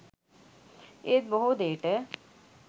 ඒත් බොහෝ දේට